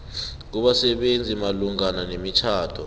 kubasebenzisi malungana nemitjhado